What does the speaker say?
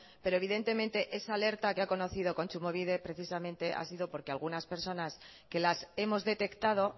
pero evidentemente esa alerta que ha conocido kontsumobide precisamente ha sido porque algunas personas que las hemos detectado